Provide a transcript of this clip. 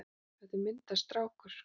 Þetta er myndarstrákur.